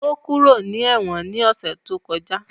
Ó kúrò ní ẹ̀wọ̀n ní ọ̀sẹ̀ tó kọjá